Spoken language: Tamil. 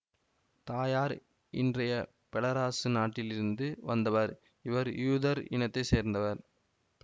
தாயார் இன்றைய பெலராசு நாட்டிலிருந்து வந்தவர் இவர் யூதர் இனத்தை சேர்ந்தவர்